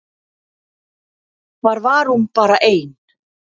Þar var hún bara ein.